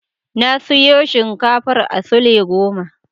Na siyo shinkafar a sule goma.